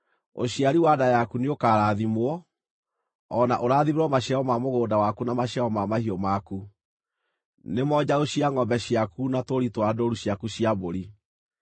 Ũciari wa nda yaku nĩũkarathimwo, o na ũrathimĩrwo maciaro ma mũgũnda waku na maciaro ma mahiũ maku, nĩmo njaũ cia ngʼombe ciaku na tũũri twa ndũũru ciaku cia mbũri.